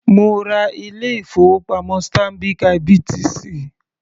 Mo ra ilé ìfowópamọ́ Stanbic IBTC.